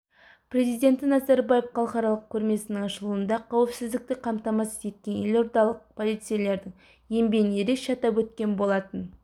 президенті назарбаев халықаралық көрмесінің ашылуында қауіпсіздікті қамтамасыз еткен елордалық полицейлердің еңбегін ерекше атап өткен болатын